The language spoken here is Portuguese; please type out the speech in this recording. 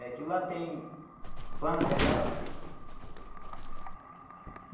É que lá tem plantas lá.